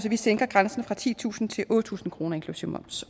vi sænker grænsen fra titusind til otte tusind kroner inklusive moms